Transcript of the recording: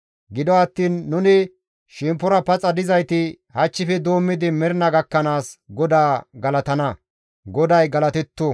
Gido attiin nuni shemppora paxa dizayti hachchife doommidi mernaa gakkanaas GODAA galatana. GODAY galatetto!